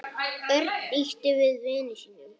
Örn ýtti við vini sínum.